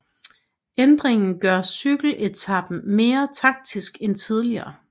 Ændringen gør cykeletapen mere taktisk end tidligere